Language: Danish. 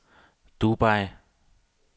Dubai